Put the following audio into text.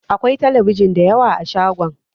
Akwai telebijin dayawa a shagon